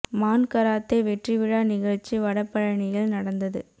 மான்கராத்தே வெற்றி விழா நிகழ்ச்சி வடபழனியில் நடந்தது